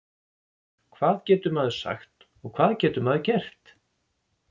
Hvað getur maður sagt og hvað getur maður gert?